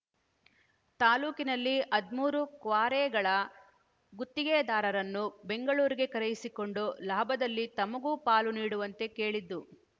ತಾಲೂಕಿನಲ್ಲಿ ಹದಿಮೂರು ಕ್ವಾರೆಗಳ ಗುತ್ತಿಗೆದಾರರನ್ನು ಬೆಂಗಳೂರಿಗೆ ಕರೆಯಿಸಿಕೊಂಡು ಲಾಭದಲ್ಲಿ ತಮಗೂ ಪಾಲು ನೀಡುವಂತೆ ಕೇಳಿದ್ದು